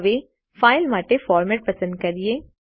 હવે ફાઇલ માટે ફોર્મેટ પસંદ કરીએ